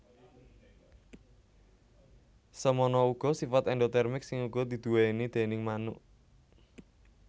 Semono uga sifat endotermik sing uga diduwéni déning manuk